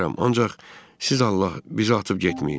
ancaq siz Allah, bizi atıb getməyin.